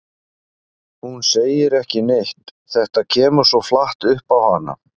Hún segir ekki neitt, þetta kemur svo flatt upp á hana.